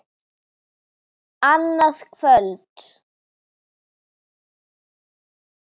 Annað kvöld!